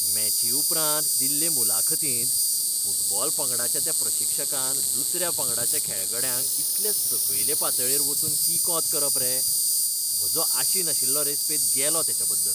मॅची उपरांत दिल्ले मुलाखतींत फुटबॉल पंगडाच्या त्या प्रशिक्षकान दुसऱ्या पंगडाच्या खेळगड्यांक इतले सकयले पातळेर वचून किकोंत करप रे? म्हजो आशिनाशिल्लो रेस्पेत गेलो तेचेबद्दल.